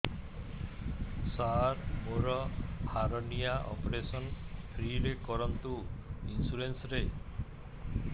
ସାର ମୋର hernia operation free ରେ କରନ୍ତୁ ଇନ୍ସୁରେନ୍ସ ରେ